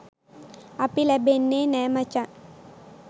අපි ලැබෙන්නෙ නැ මචන්.